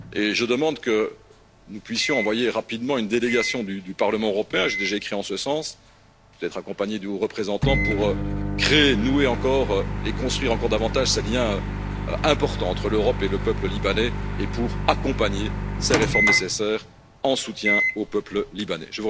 Je demande que nous puissions envoyer rapidement une délégation du Parlement européen j'ai déjà écrit en ce sens, afin d'être accompagnés du haut représentant pour créer, nouer encore et construire encore davantage ces liens importants entre l'Europe et le peuple libanais et pour accompagner ces réformes nécessaires en soutien au peuple libanais.